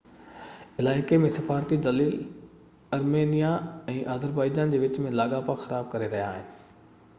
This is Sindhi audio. علائقي ۾ سفارتي دليل آرمينيا ۽ آذربائيجان جي وچ ۾ لاڳاپا خراب ڪري رهيا هئا